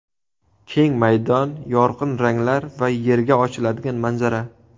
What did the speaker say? Keng maydon, yorqin ranglar va Yerga ochiladigan manzara.